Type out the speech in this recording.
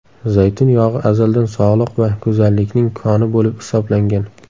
Zaytun yog‘i azaldan sog‘liq va go‘zallikning koni bo‘lib hisoblangan.